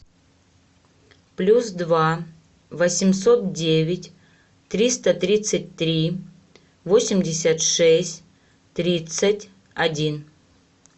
плюс два восемьсот девять триста тридцать три восемьдесят шесть тридцать один